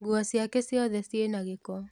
Nguo ciake ciothe ciĩna gĩko